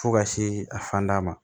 Fo ka se a fanda ma